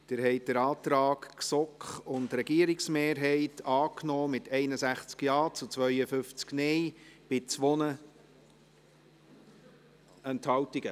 Sie haben den Antrag GSoK und Regierungsmehrheit angenommen, mit 61 Ja- gegen 52 Nein-Stimmen bei 2 Enthaltungen.